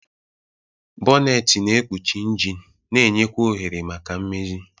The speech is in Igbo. Bonneti na-ekpuchi injin na-enye kwa ohere maka mmezi.